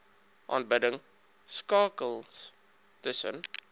aanbidding skakels tussen